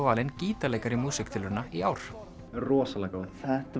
valinn gítarleikari músíktilrauna í ár rosalega góð